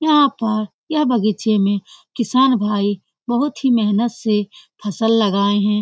यहाँ पर यह बग़ीचे में किसान भाई बहुत ही मेहनत से फसल लगाए हैं।